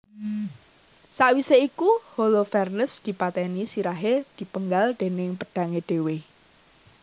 Sawisé iku Holofernes dipatèni sirahé dipenggal déning pedhangé dhéwé